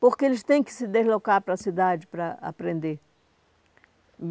Porque eles têm que se deslocar para a cidade para aprender.